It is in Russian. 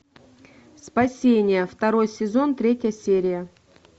спасение второй сезон третья серия